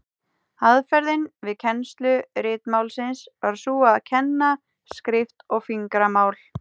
Aðferðin við kennslu ritmálsins var sú að kenna skrift og fingramál.